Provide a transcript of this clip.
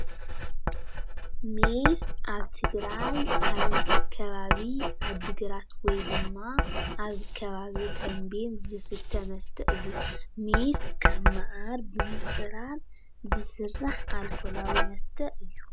ሜስ ኣብ ትግራይ ኣብ ከባቢ ዓዲ ግራት ወይ ድማ ኣብ ከባቢ ተምቤን ዝስተ መስተ እዩ። ሜስ ካብ መዓር ብምፅራር ዝስራሕ ኣልኮላዊ መስተ እዩ።